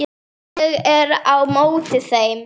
Ég er á móti þeim.